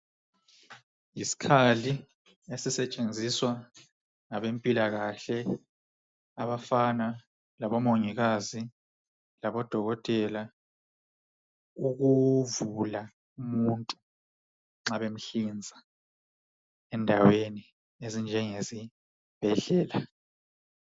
Yisikhali esisetshenziswa ngabempilakahle abafana labomongikazi labodokotela ukuvula umuntu nxa bemhlinza endaweni ezinjengesibhedlela.